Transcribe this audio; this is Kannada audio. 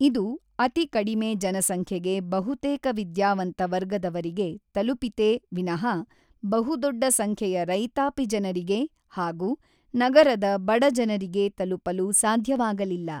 ಇದು ಅತಿಕಡಿಮೆ ಜನಸಂಖ್ಯೆಗೆ ಬಹುತೇಕ ವಿದ್ಯಾವಂತ ವರ್ಗದವರಿಗೆ ತಲುಪಿತೇ ವಿನಹಃ ಬಹುದೊಡ್ಡ ಸಂಖ್ಯೆಯ ರೈತಾಪಿ ಜನರಿಗೆ ಹಾಗೂ ನಗರದ ಬಡಜನರಿಗೆ ತಲುಪಲು ಸಾಧ್ಯವಾಗಲಿಲ್ಲ.